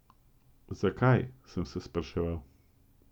Zakaj, sem se spraševal.